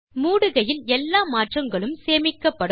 மூடுகையில் எல்லா மாற்றங்களும் சேமிக்கப்படும்